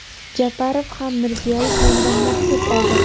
Japarov ham Mirziyoyev nomidan maktub oldi.